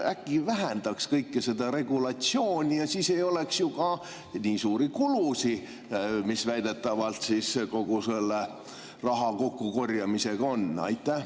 Äkki vähendaks kogu seda regulatsiooni ja siis ei oleks ju ka nii suuri kulusid, mis väidetavalt kogu selle raha kokku korjamisega on?